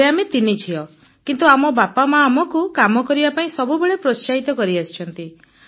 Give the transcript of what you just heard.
ଘରେ ଆମେ ତିନି ଝିଅ କିନ୍ତୁ ଆମ ବାପା ଆମକୁ କାମ କରିବା ପାଇଁ ସବୁବେଳେ ପ୍ରୋତ୍ସାହିତ କରିଆସିଛନ୍ତି